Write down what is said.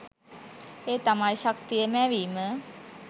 ඒ තමයි ශක්තිය මැවීම